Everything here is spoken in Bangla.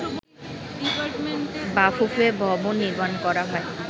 বাফুফে ভবন নির্মাণ করা হয়